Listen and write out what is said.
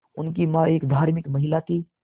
उनकी मां एक धार्मिक महिला थीं